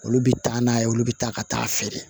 Olu bɛ taa n'a ye olu bɛ taa ka taa feere